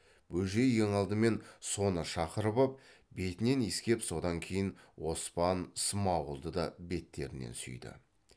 бөжей ең алдымен соны шақырып ап бетінен иіскеп содан кейін оспан смағұлды да беттерінен сүйді